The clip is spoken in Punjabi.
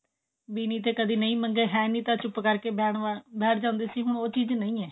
ਵੀ ਨਹੀਂ ਤਾਂ ਕਦੇ ਨਹੀਂ ਮੰਗੇ ਹੈ ਨਹੀਂ ਤਾਂ ਚੁੱਪ ਕਰਕੇ ਬੈਠ ਜਾਂਦੇ ਸੀ ਹੁਣ ਉਹ ਚੀਜ ਨਹੀਂ ਹੈ